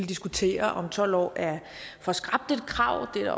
diskutere om tolv år er for skrapt et krav det